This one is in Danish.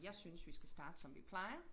Jeg synes vi skal starte som vi plejer